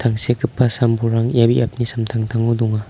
tangsekgipa sam-bolrang ia biapni samtangtango donga.